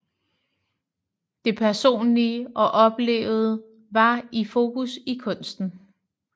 Det personlige og oplevede var i fokus i kunsten